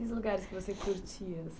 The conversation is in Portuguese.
E os lugares que você curtia?